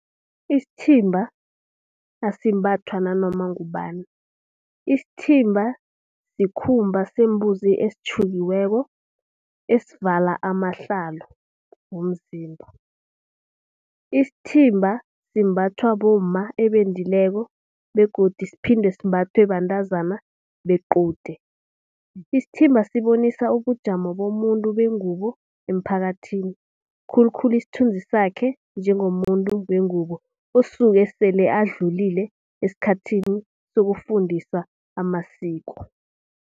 Isithimba asimbathwa nanoma ngubani, isithimba sikhumba sembuzi esitjhukiweko esivala amahlalo womzimba. Isithimba simbathwa bomma ebendileko begodu siphinde simbathwe bentazana bequde. Isithimba sibonisa ubujamo bomuntu bengubo emphakathini. Khulukhulu isithunzi sakhe njengomuntu wengubo osuke sele adlulile esikhathini sokufundiswa amasiko.